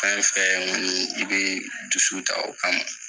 Fɛn fɛn n bɛ dusuw ta o kama